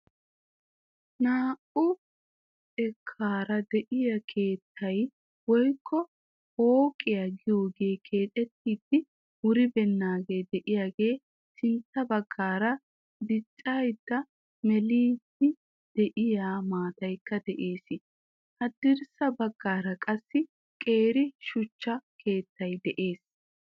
Naa"u xekkaara de"iyaa keettay woyikko pooqiyaa giyoogee keexettidi wuribeennaagee de"iyaagaa sintta baggaara diccidanne meeliiddi de"iyaa maataykka de'ees. Haddirssa baggaara qassi qeeri shuchcha keettay de'ees.